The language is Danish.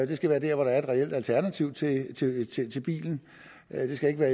det skal være der hvor der er et reelt alternativ til bilen det skal ikke være